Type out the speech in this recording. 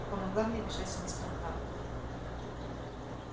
и помогла мне бежать с мистером тарлтоном